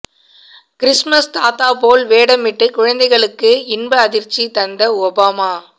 Christmas தாத்தா போல் வேடமிட்டு குழந்தைகளுக்கு இன்ப அதிர்ச்சி தந்த ஒபாமா